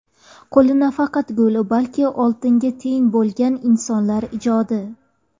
Qo‘li nafaqat gul, balki oltinga teng bo‘lgan insonlar ijodi .